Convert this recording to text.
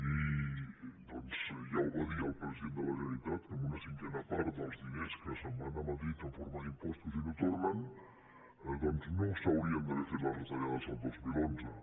i doncs ja ho va dir el president de la generalitat que amb una cinquena part dels diners que se’n van a madrid en forma d’impostos i no tornen no s’haurien d’haver fet les retallades el dos mil onze